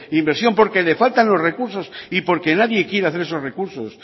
inversión porque le faltan los recurso y porque nadie quiere hacer esos recursos